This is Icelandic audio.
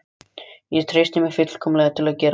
Ég treysti mér fullkomlega til að gera